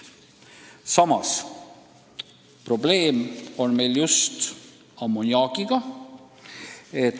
Samas meil on probleem just ammoniaagiga.